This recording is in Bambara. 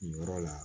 Nin yɔrɔ la